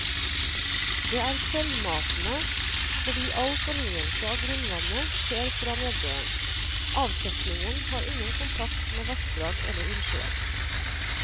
Det er selvmatende fordi all fornyelse av grunnvannet skjer fra nedbøren, avsetningen har ingen kontakt med vassdrag eller innsjøer.